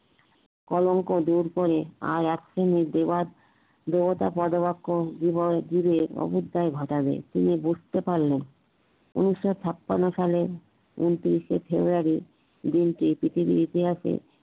কলঙ্ক দূর করে আর একসেমি দেবাত দেবতা পদবক্ষন যুগের ঘটাবে তুমি বুঝতে পারলে উনিশ ছাপান্ন সালে উনত্রিশ ফেব্রুয়ারি দিন টি পৃথিবীর ইতিহাসে